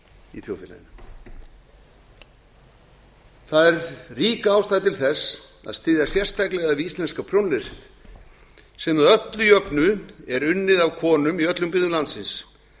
í þjóðfélaginu það er rík ástæða til þess að styðja sérstaklega við íslenska prjónlesið sem að öllu jöfnu er unnið af konum í öllum byggðum landsins